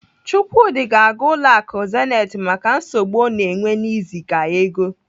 Chukwudi ga-aga ụlọ akụ Zenith maka nsogbu ọ na-enwe n'iziga ego.